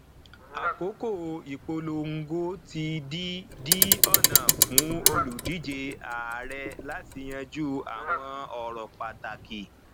àkókò ìpolongo ti di di ọnà fún olùdíje ààrẹ láti yanjú àwọn ọrọ pàtàkì